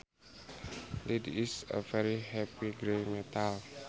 Lead is a very heavy gray metal